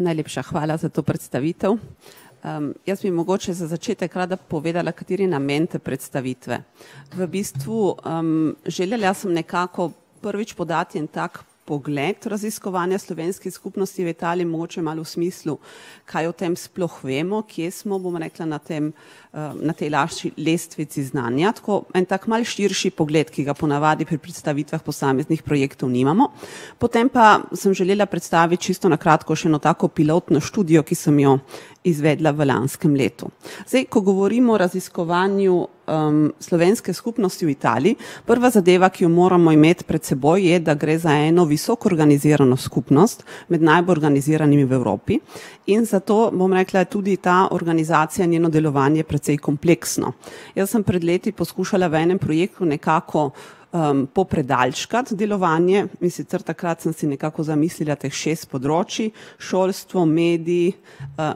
Najlepša hvala za to predstavitev. jaz bi mogoče za začetek rada povedala, kateri namen te predstavitve. V bistvu, želela sem nekako prvič podati en tak pogled raziskovanja slovenske skupnosti v Italiji, mogoče malo v smislu, kaj o tem sploh vemo, kje smo, bom rekla, na tem, na tej lestvici znanja tako en tak malo širši pogled, ki ga ponavadi pri predstavitvah posameznih projektov nimamo. Potem pa sem želela predstaviti čisto na kratko še eno tako pilotno študijo, ki sem jo izvedla v lanskem letu. Zdaj, ko govorimo o raziskovanju, slovenske skupnosti v Italiji, prva zadeva, ki jo moramo imeti pred seboj, je, da gre za eno visoko organizirano skupnost, med najbolj organiziranimi v Evropi. In zato, bom rekla, je tudi ta organizacija in njeno delovanje precej kompleksno. Jaz sem pred leti poskušala v enem projektu nekako, popredalčkati delovanje, in sicer takrat sem si nekako zamislila teh šest področij: šolstvo, medij,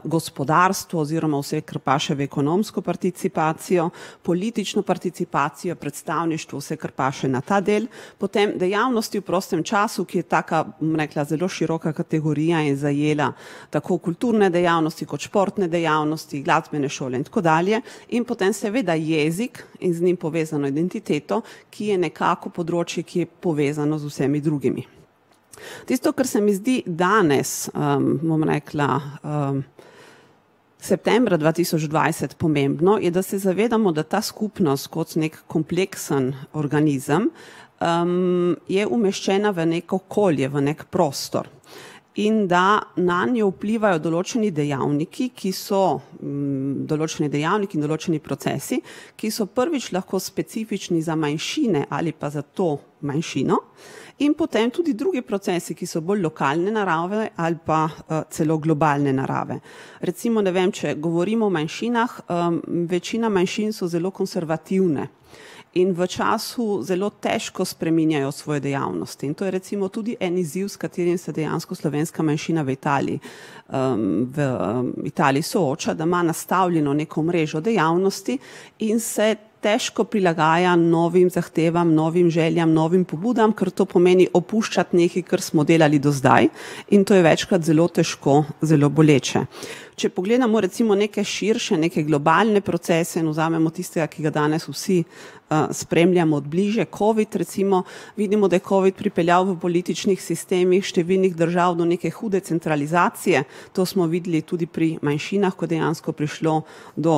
gospodarstvo oziroma vse, kar paše v ekonomsko participacijo, politično participacijo, predstavništvo, vse, kar paše na ta del. Potem dejavnosti v prostem času, ki je taka, bom rekla, zelo široka kategorija in zajela tako kulturne dejavnosti kot športne dejavnosti, glasbene šole in tako dalje. In potem seveda jezik in z njim povezano identiteto, ki je nekako področje, ki je povezano z vsemi drugimi. Tisto, kar se mi zdi danes, bom rekla, septembra dva tisoč dvajset pomembno, je, da se zavedamo, da ta skupnost kot neki kompleksen organizem, je umeščena v neko okolje, v neki prostor. In da nanjo vplivajo določeni dejavniki, ki so, določeni dejavniki in določeni procesi, ki so prvič lahko specifični za manjšine ali pa za to manjšino. In potem tudi drugi procesi, ki so bolj lokalne narave ali pa, celo globalne narave. Recimo, ne vem, če govorimo o manjšinah, večina manjšin so zelo konservativne. In v času zelo težko spreminjajo svoje dejavnosti in to je recimo tudi en izziv, s katerim se dejansko slovenska manjšina v Italiji, v, v Italiji sooča, da ima nastavljeno neko mrežo dejavnosti in se težko prilagaja novih zahtevam, novim željam, novim pobudam, ker to pomeni opuščati nekaj, kar smo delali do zdaj in to je večkrat zelo težko, zelo boleče. Če pogledamo recimo neke širše, neke globalne procese in vzamemo tistega, ki ga danes vsi, spremljamo od bližje, covid recimo, vidimo, da je covid pripeljal v političnih sistemih številnih držav do neke hude centralizacije. To smo videli tudi pri manjšinah, ko dejansko prišlo do,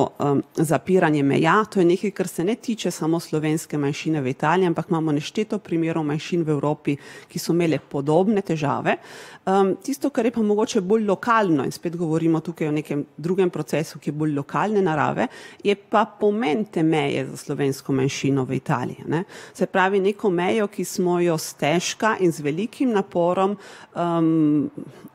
zapiranja meja, to je nekaj, kar se ne tiče samo slovenske manjšine v Italiji, ampak imamo nešteto primerov manjšin v Evropi, ki so imele podobne težave. tisto, kar je pa mogoče bolj lokalno, in spet govorimo tukaj o nekem drugem procesu, ki je bolj lokalne narave, je pa pomen te meje za slovensko manjšino v Italiji, a ne. Se pravi, neko mejo, ki smo jo stežka in z velikim naporom,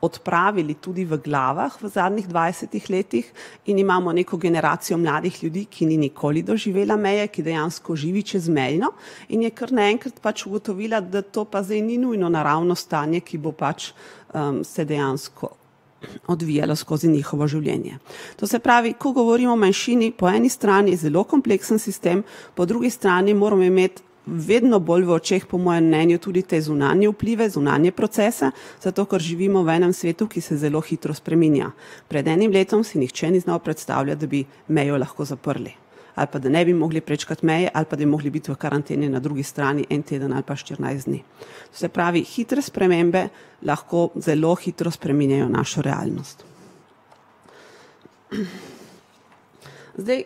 odpravili tudi v glavah v zadnjih dvajsetih letih in imamo neko generacijo mladih ljudi, ki ni nikoli doživela meje, ki dejansko živi čezmejno, in je kar naenkrat pač ugotovila, da to pa zdaj ni nujno naravno stanje, ki bo pač, se dejansko odvijalo skozi njihovo življenje. To se pravi, ko govorimo o manjšini, po eni strani zelo kompleksen sistem, po drugi strani moramo imeti vedno bolj v očeh, po mojem mnenju, tudi te zunanje vplive, zunanje procese, zato ker živimo v enem svetu, ki se zelo hitro spreminja. Pred enim letom si nihče ni znal predstavljati, da bi mejo lahko zaprli. Ali pa, da ne bi mogli prečkati meje ali pa da bi moral biti v karanteni na drugi strani en teden ali pa štirinajst dni. Se pravi hitre spremembe lahko zelo hitro spreminjajo našo realnost. Zdaj,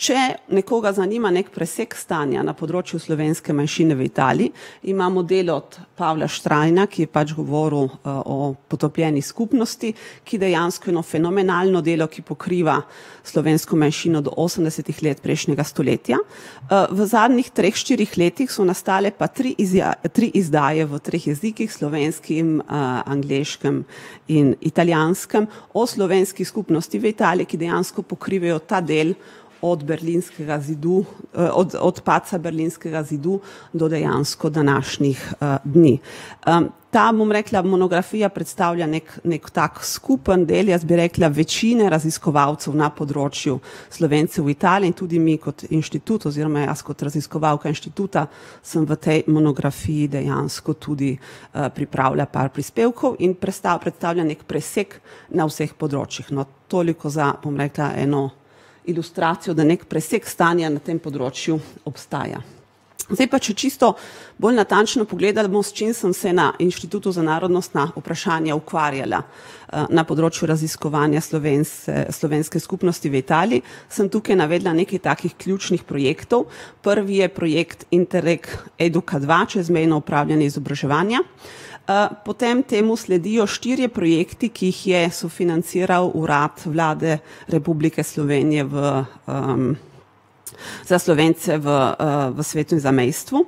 če nekoga zanima neki presek stanja na področju slovenske manjšine v Italiji, imamo delo od Pavla Štrajna, ki je pač govoril o potopljeni skupnosti, ki dejansko eno fenomenalno delo, ki pokriva slovensko manjšino do osemdesetih let prejšnjega stoletja. v zadnjih treh, štirih letih so nastale pa tri tri izdaje v treh jezikih, slovenskem, angleškem in italijanskem o slovenski skupnosti v Italiji, ki dejansko pokrivajo ta del od Berlinskega zidu, od od padca Berlinskega zidu do dejansko današnjih, dni. ta, bom rekla, monografija predstavlja neki, neki tak skupen del, jaz bi rekla večine raziskovalcev na področju Slovencev v Italiji in tudi mi kot inštitut oziroma jaz kot raziskovalka inštituta sem v tej monografiji dejansko tudi, pripravila par prispevkov in predstavila neki presek na vseh področjih, no, toliko za, bom rekla, eno ilustracijo, da neki presek stanja na tem področju obstaja. Zdaj pa, če čisto bolj natančno pogledamo, s čim sem se na Inštitutu za narodnostna vprašanja ukvarjala. na področju raziskovanja slovenske skupnosti v Italiji sem tukaj navedla nekaj takih ključnih projektov. Prvi je projekt Interreg Eduka dva čezmejno opravljanje izobraževanja, potem temu sledijo štirje projekti, ki jih je sofinanciral Urad Vlade Republike Slovenije v, za Slovence v, v svetu zamejstva.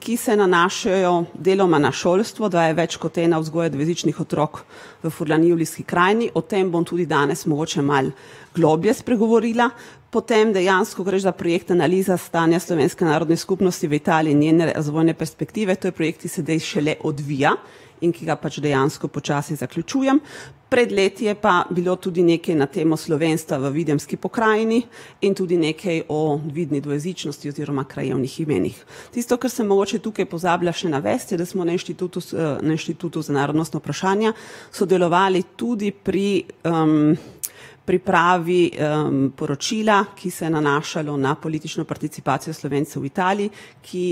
ki se nanašajo deloma na šolstvo, da je več kot ena vzgoja dvojezičnih otrok v Furlaniji v Julijski Krajini, o tem bom tudi danes mogoče malo globlje spregovorila. Potem dejansko gre za projekt Analiza stanja slovenske narodne skupnosti v Italiji in njene razvojne perspektive. To je projekt, ki se zdaj šele odvija in ki ga pač dejansko počasi zaključujem. Pred leti je pa bilo tudi nekaj na temo slovenstva v Videmski pokrajini in tudi nekaj o vidni dvojezičnosti oziroma krajevnih imenih. Tisto, kar sem mogoče tukaj pozabila še navesti, je, da smo na Inštitutu na Inštitutu za narodnostna vprašanja sodelovali tudi pri, pripravi, poročila, ki se nanašajo na politično participacijo Slovencev v Italiji, ki,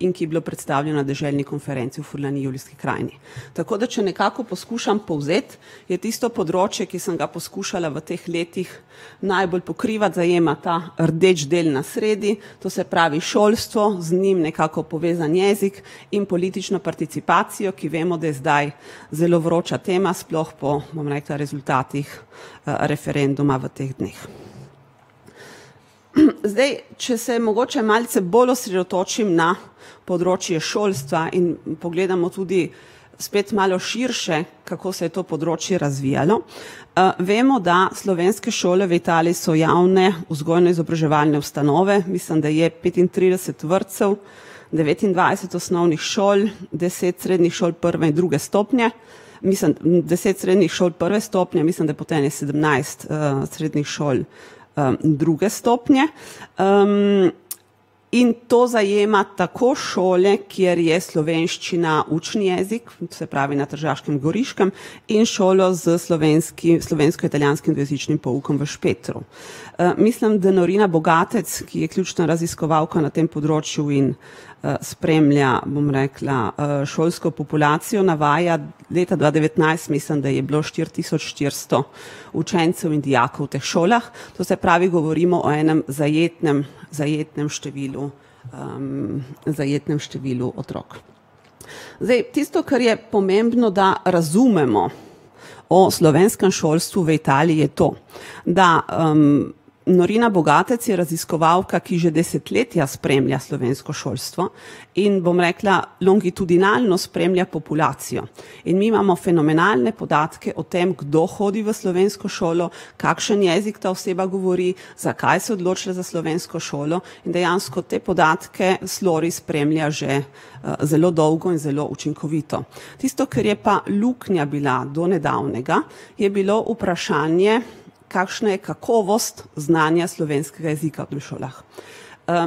in ki je bila predstavljeno deželni konferenci v Furlaniji v Julijski Krajini. Tako, da če nekako poskušam povzeti, je tisto področje, ki sem ga poskušala v teh letih najbolj pokrivati, zajema ta rdeči del na sredi, to se pravi šolstvo, z njim nekako povezan jezik in politično participacijo, ki vemo, da je zdaj zelo vroča tema sploh po, bom rekla, rezultatih, referenduma v teh dneh. Zdaj, če se mogoče malce bolj osredotočim na področje šolstva in pogledamo tudi spet malo širše, kako se je to področje razvijalo, vemo, da slovenske šole v Italiji so javne vzgojno-izobraževalne ustanove, mislim, da je petintrideset vrtcev, devetindvajset osnovnih šol, deset srednjih šol prve in druge stopnje, mislim deset srednjih šol prve stopnje, mislim, da potem sedemnajst, srednjih šol, druge stopnje, . In to zajema tako šole, kjer je slovenščina učni jezik, se pravi na Tržaškem in Goriškem, in šole s slovensko-italijanskim različnim poukom v Špetru. mislim, da [ime in priimek] , ki je ključna raziskovalka na tem področju in, spremlja, bom rekla, šolsko populacijo, navaja, da leta dva devetnajst, mislim, da je bilo štiri tisoč štiristo učencev in dijakov v teh šolah. To se pravi, govorimo o enem zajetnem, zajetnem številu, zajetnem številu otrok. Zdaj tisto, kar je pomembno, da razumemo o slovenskem šolstvu v Italiji, je to, da, [ime in priimek] je raziskovalka, ki že desetletja spremlja slovensko šolstvo in, bom rekla, longitudinalno spremlja populacijo. In mi imamo fenomenalne podatke o tem, kdo hodi v slovensko šolo, kakšen jezik ta oseba govori, zakaj se je odločila za slovensko šolo in dejansko te podatke spremlja že, zelo dolgo in zelo učinkovito. Tisto, kar je pa luknja bila do nedavnega, je bilo vprašanje, kakšna je kakovost znanja slovenskega jezika v teh šolah.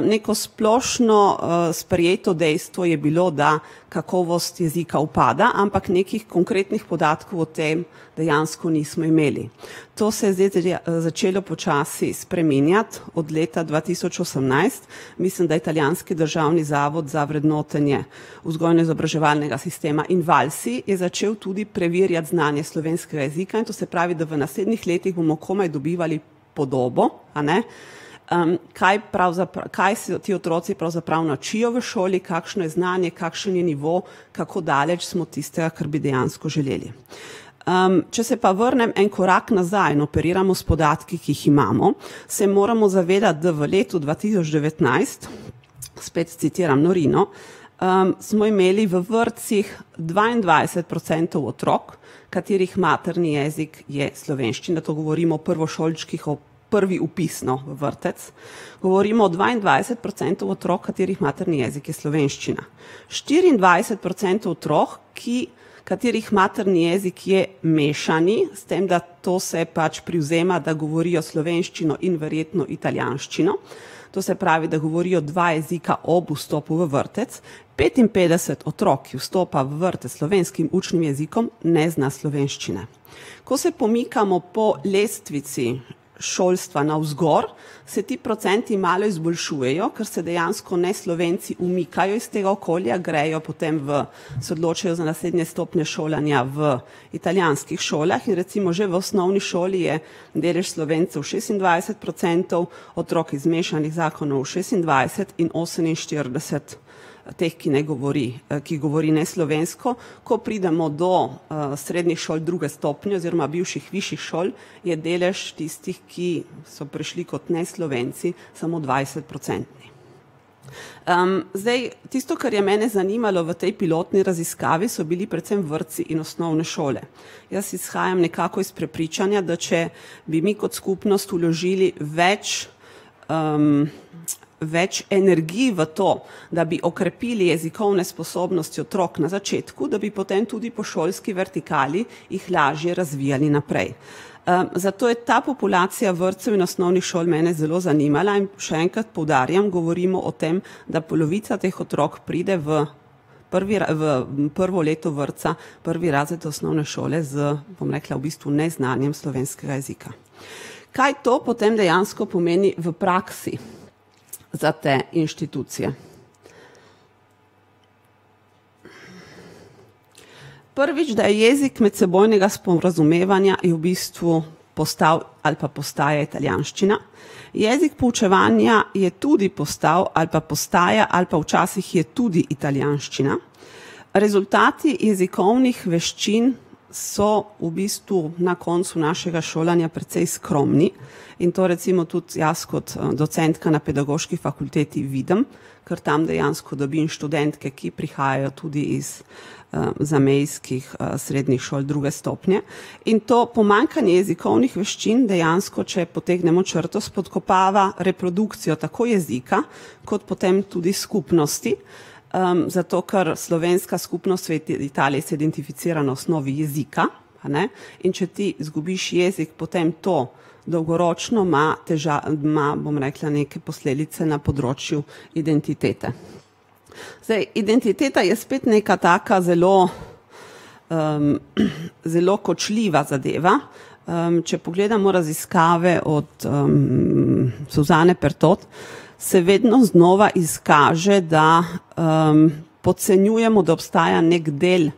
neko splošno, sprejeto dejstvo je bilo, da kakovost jezika upada, ampak nekih konkretnih podatkov o tem dejansko nismo imeli. To se je zdaj začelo počasi spreminjati od leta dva tisoč osemnajst, mislim, da Italijanski državni zavod za vrednotenje vzgojno-izobraževalnega sistema Invalsi je začel tudi preverjati znanje slovenskega jezika in, to se pravi, da v naslednjih letih bomo komaj dobivali podobo, a ne, kaj kaj se ti otroci pravzaprav naučijo v šoli, kakšno je znanje, kakšen je nivo, kako daleč smo tistega, kar bi dejansko želeli. če se pa vrnem en korak nazaj, in operiramo s podatki, ki jih imamo, se moramo zavedati, da v letu dva tisoč devetnajst, spet citiram Norino, smo imeli v vrtcih dvaindvajset procentov otrok, katerih materni jezik je slovenščina, to govorim o prvošolčkih o prvi vpis, no, v vrtec. Govorim o dvaindvajset procentov otrok, katerih materni jezik je slovenščina. Štiriindvajset procentov otrok, ki, katerih materni jezik je mešani, s tem, da to se pač privzema, da govorijo slovenščino in verjetno italijanščino. To se pravi, da govorijo dva jezika ob vstopu v vrtec. Petinpetdeset otrok, ki vstopa v vrtec s slovenskim učnim jezikom, ne zna slovenščine. Ko se pomikamo po lestvici šolstva navzgor, se ti procenti malo izboljšujejo, ker se dejansko Neslovenci umikajo iz tega okolja, grejo potem v, se odločijo za naslednje stopnje šolanja v italijanskih šolah in recimo že v osnovni šoli je delež Slovencev šestindvajset procentov otrok iz mešanih zakonov šestindvajset in oseminštirideset teh, ki ne govori, ki govori neslovensko. Ko pridemo do, srednjih šol druge stopnje oziroma bivših višjih šol, je delež tistih, ki so prišli kot Neslovenci, samo dvajsetprocentni. zdaj tisto, kar je mene zanimalo v tej pilotni raziskavi, so bili predvsem vrtci in osnovne šole. Jaz izhajam nekako iz prepričanja, da če bi mi kot skupnost vložili več, , več energij v to, da bi okrepili jezikovne sposobnosti otrok na začetku, da bi potem tudi po šolski vertikali jih lažje razvijali naprej. zato je ta populacija vrtcev in osnovnih šol mene zelo zanimala in še enkrat poudarjam, govorimo o tem, da polovica teh otrok pride v prvi v prvo leto vrtca, prvi razred osnovne šole z, bom rekla, v bistvu neznanjem slovenskega jezika. Kaj to potem dejansko pomeni v praksi za te institucije? Prvič, da je jezik medsebojnega sporazumevanja je v bistvu postal ali pa postaja italijanščina. Jezik poučevanja je tudi postal ali pa postaja ali pa včasih je tudi italijanščina. Rezultati jezikovnih veščin so v bistvu na koncu našega šolanja precej skromni in to recimo tudi jaz kot, docentka na pedagoški fakulteti vidim. Kar tam dejansko dobim študentke, ki prihajajo tudi iz, zamejskih, srednjih šol druge stopnje. In to pomanjkanje jezikovnih veščin dejansko, če potegnemo črto, spodkopava reprodukcijo tako jezika kot potem tudi skupnosti. zato ker slovenska skupnost v Italiji se identificira na osnovi jezika, a ne, in če ti zgubiš jezik, potem to dolgoročno ima ima, bom rekla, neke posledice na področju identitete. Zdaj identiteta je spet neka taka zelo, zelo kočljiva zadeva. če pogledamo raziskave od, [ime in priimek] , se vedno znova izkaže, da, podcenjujemo, da obstaja neki del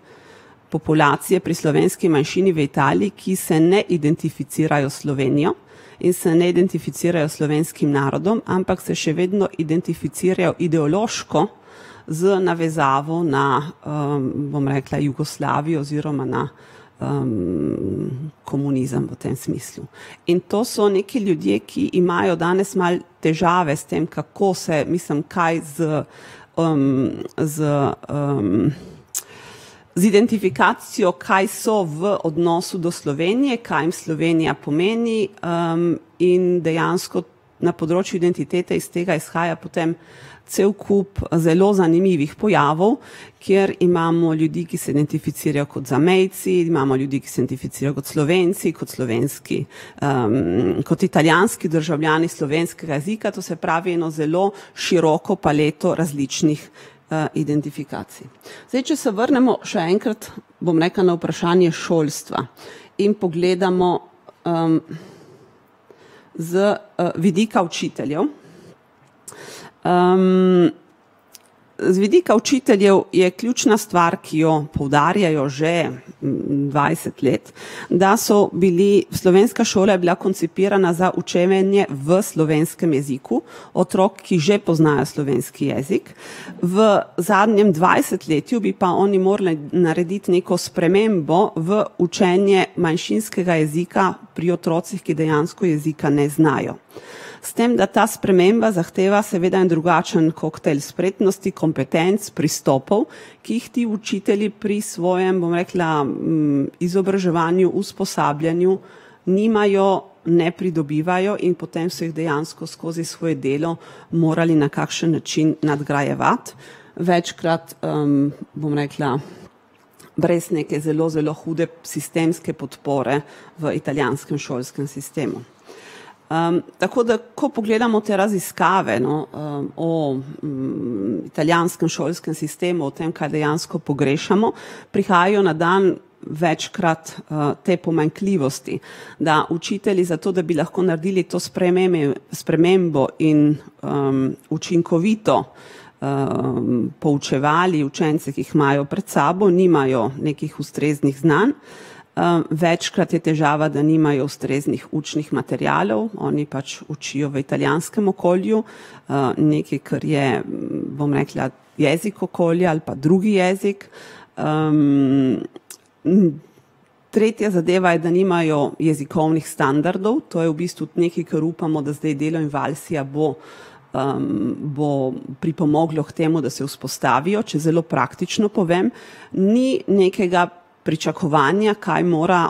populacije pri slovenski manjšini v Italiji, ki se ne identificirajo s Slovenijo in se ne identificirajo s slovenskim narodom, ampak se še vedno identificirajo ideološko z navezavo na, bom rekla, Jugoslavijo oziroma na, komunizem v tem smislu. In to so neki ljudje, ki imajo danes malo težave s tem, kako se, mislim, kaj z, z, z identifikacijo, kaj so v odnosu do Slovenije, kaj jim Slovenija pomeni, in dejansko na področju identitete iz tega izhaja potem cel kup, zelo zanimivih pojavov, kjer imamo ljudi, ki se identificirajo kot zamejci, imamo ljudi, ki se identificirajo kot Slovenci, kot slovenski, kot italijanski državljani slovenskega jezika, to se pravi eno zelo široko paleto različnih, identifikacij. Zdaj, če se vrnemo še enkrat, bom rekla, na vprašanje šolstva, in pogledamo, z, vidika učiteljev, z vidika učiteljev je ključna stvar, ki jo poudarjajo že dvajset let, da so bili, slovenska šola je bila koncipirana za učenje v slovenskem jeziku otrok, ki že poznajo slovenski jezik. V zadnjem dvajsetletju bi pa oni morali narediti neko spremembo v učenje manjšinskega jezika pri otrocih, ki dejansko jezika ne znajo. S tem da ta sprememba zahteva seveda en drugačen koktejl spretnosti, kompetenc, pristopov, ki jih ti učitelji pri svojem, bom rekla, izobraževanju, usposabljanju nimajo, ne pridobivajo, in potem so jih dejansko skozi svoje delo morali na kakšen način nadgrajevati. Večkrat, bom rekla, brez neke zelo, zelo hude sistemske podpore v italijanskem šolskem sistemu. tako da, ko pogledamo te raziskave, no, o, italijanskem šolskem sistemu, o tem, kaj dejansko pogrešamo. Prihajajo na dan večkrat, te pomanjkljivosti, da učitelji zato, da bi lahko naredili to spremembo in, učinkovito, poučevali učence, ki jih imajo pred sabo, nimajo nekih ustreznih znanj. večkrat je težava, da nimajo ustreznih učnih materialov, oni pač učijo v italijanskem okolju. nekaj, kar je, bom rekla, jezik okolja ali pa drugi jezik. tretja zadeva je, da nimajo jezikovnih standardov, to je v bistvu nekaj, kar upamo, da zdaj delo Invalsija bo, bo pripomoglo k temu, da se vzpostavijo, če zelo praktično povem, ni nekega pričakovanja, kaj mora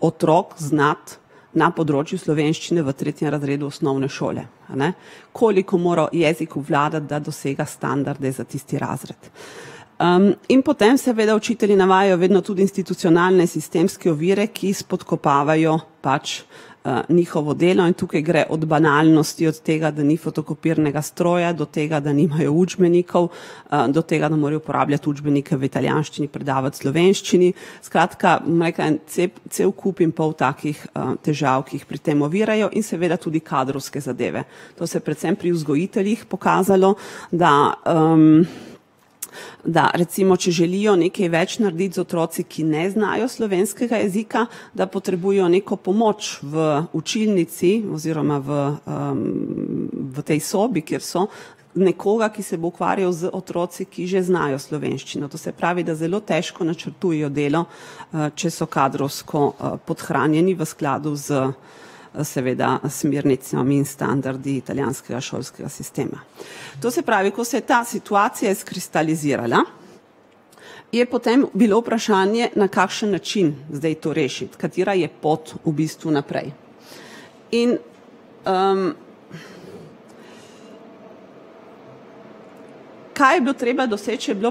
otrok znati na področju slovenščine v tretjem razredu osnovne šole, a ne. Koliko mora jezik obvladati, da dosega standarde za tisti razred. in potem seveda učitelji navajajo vedno tudi institucionalne sistemske ovire, ki spodkopavajo pač, njihovo delo in tukaj gre od banalnosti, od tega, da ni fotokopirnega stroja do tega, da nimajo učbenikov, do tega, da morajo uporabljati učbenike v italijanščini, predavati v slovenščini. Skratka, bom rekla, en cel kup in pol takih težav, ki jih pri tem ovirajo in seveda tudi kadrovske zadeve. To se je predvsem pri vzgojiteljih pokazalo, da, da recimo, če želijo nekaj več narediti z otroci, ki ne znajo slovenskega jezika, da potrebujejo neko pomoč v učilnici oziroma v, v tej sobi, kjer so, nekoga, ki se bo ukvarjal z otroki, ki že znajo slovenščino, to se pravi, da zelo težko načrtujejo delo, če so kadrovsko, podhranjeni v skladu s, seveda smernicami in standardi italijanskega šolskega sistema. To se pravi, ko se je ta situacija izkristalizirala, je potem bilo vprašanje, na kakšen način zdaj to rešiti, katera je pot v bistvu naprej. In, ... Kaj je bilo treba doseči, je bilo